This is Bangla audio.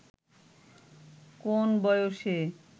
কোন বয়সে